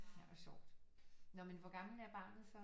Ej hvor sjovt nå men hvor gammel er barnet så